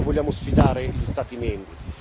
E su questo vogliamo sfidare gli Stati membri.